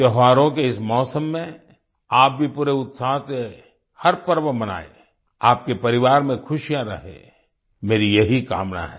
त्योहारों के इस मौसम में आप भी पूरे उत्साह से हर पर्व मनाएँ आपके परिवार में खुशियां रहें मेरी यही कामना है